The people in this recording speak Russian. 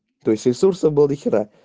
то есть ресурсов было до хера